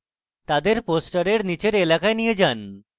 তাদের poster নীচে এলাকায় নিয়ে যান